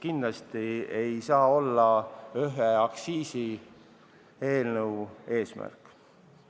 Kindlasti ei saa see olla ühe aktsiisieelnõu eesmärk.